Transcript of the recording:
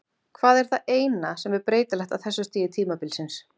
Hvað er það eina sem er breytilegt á þessu stigi tímabilsins?